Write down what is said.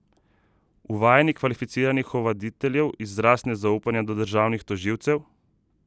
Uvajanje kvalificiranih ovaditeljev izraz nezaupanja do državnih tožilcev?